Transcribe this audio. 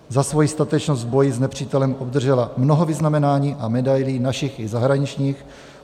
Za svoji statečnost v boji s nepřítelem obdržela mnoho vyznamenání a medailí našich i zahraničních.